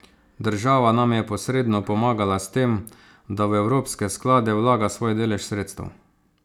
Država nam je posredno pomagala s tem, da v evropske sklade vlaga svoj delež sredstev.